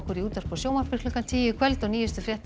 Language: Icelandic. í útvarpi og sjónvarpi klukkan tíu í kvöld og nýjustu fréttir